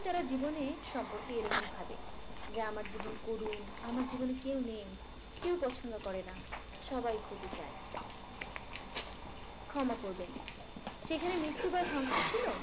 তারা জীবনের সম্পর্কে এরকম ভাবে যে আমার জীবন করুণ আমার জীবনে কেউ নেই। কেউ পছন্দ করেনা সবাই ক্ষতি চায়। ক্ষমা করবেন। সেখানে মৃত্যু বা ধ্বংস ছিল।